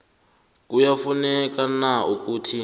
kuyafuneka na ukuthi